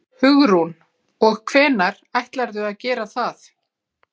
Hugrún: Og hvenær ætlarðu að gera það?